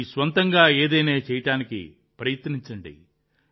మీ స్వంతంగా ఏదైనా చేయడానికి ప్రయత్నించండి